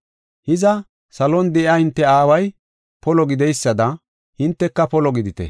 Hiza, salon de7iya hinte aaway polo gidoysada hinteka polo gidite.”